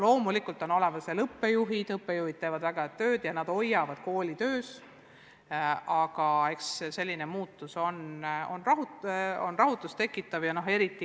Loomulikult on olemas ka õppejuhid, kes teevad väga head tööd ja nad hoiavad kooli töös, aga selline muutus tekitab ikkagi rahutust.